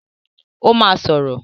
Ó máa sọ̀rọ̀.